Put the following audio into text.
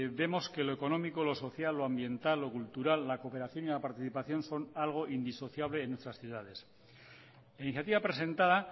vemos que lo económico lo social lo ambiental lo cultural la cooperación y la participación son algo indisociable en nuestras ciudades la iniciativa presentada